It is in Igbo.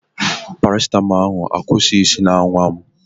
Parasitamọl ahụ akwụsighị isi na-awa m.